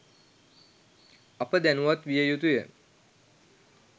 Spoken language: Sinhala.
අප දැනුවත් විය යුතුය.